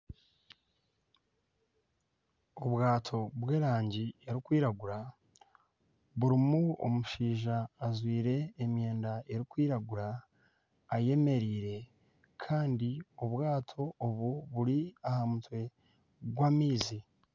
Obwato bw'erangi erikwiragura burimu omushaija ajwaire emyenda erikwiragura ayemereire Kandi obwaato obu buri ahamutwe gw'amaizi.